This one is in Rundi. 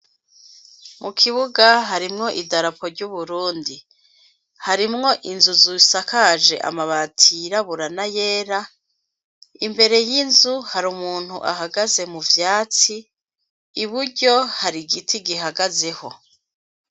Mu kibuga harimwo idarapo ry'uburundi harimwo inzuzusakaje amabati yiraburana yera imbere y'inzu hari umuntu ahagaze mu vyatsi i buryo hari igiti gihagazeho.